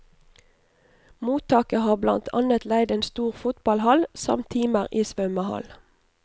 Mottaket har blant annet leid en stor fotballhall, samt timer i svømmehall.